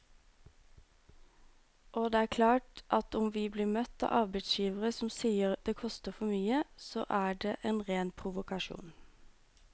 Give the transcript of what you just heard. Og det er klart at om vi blir møtt av arbeidsgivere som sier det koster for mye, så er det en ren provokasjon.